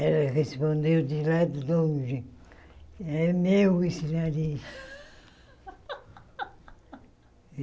Ela respondeu de lá de longe, é meu esse nariz.